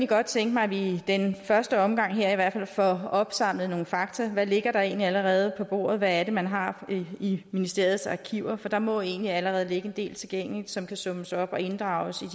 godt tænke mig at vi i den første omgang her i hvert fald får opsamlet nogle fakta hvad ligger der egentlig allerede på bordet hvad er det man har i ministeriets arkiver for der må jo egentlig allerede ligge en del tilgængeligt som kan summeres op og inddrages